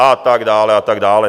A tak dále, a tak dále.